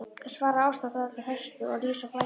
svarar Ásta dálítið höstug og rís á fætur.